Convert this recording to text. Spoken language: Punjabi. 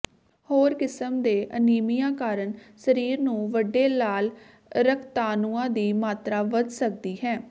ਹੋਰ ਕਿਸਮ ਦੇ ਅਨੀਮੀਆ ਕਾਰਨ ਸਰੀਰ ਨੂੰ ਵੱਡੇ ਲਾਲ ਰਕਤਾਣੂਆਂ ਦੀ ਮਾਤਰਾ ਵੱਧ ਸਕਦੀ ਹੈ